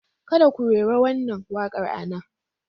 Kada ku rera wannan waƙar a nan!